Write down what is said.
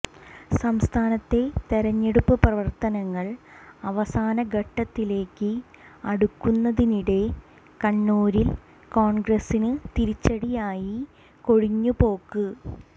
സംസ്ഥാനത്തെ തിരഞ്ഞെടുപ്പ് പ്രവർത്തനങ്ങൾ അവസാന ഘട്ടത്തിലേക്ക് അടുക്കുന്നതിനിടെ കണ്ണൂരിൽ കോൺഗ്രസിന് തിരിച്ചടിയായി കൊഴിഞ്ഞുപോക്ക്